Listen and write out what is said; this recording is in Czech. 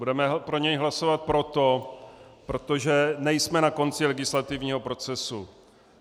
Budeme pro něj hlasovat proto, protože nejsme na konci legislativního procesu.